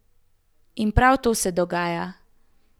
In prav to se dogaja.